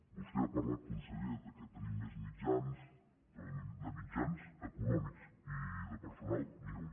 vostè ha parlat conseller que tenim més mitjans però de mitjans econòmics i de personal ni un